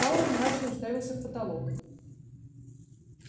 пауэлл мрачно уставился в потолок